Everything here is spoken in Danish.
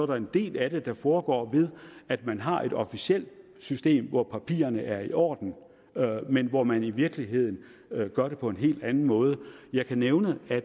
der en del af det der foregår ved at man har et officielt system hvor papirerne er i orden men hvor man i virkeligheden gør det på en helt anden måde jeg kan nævne at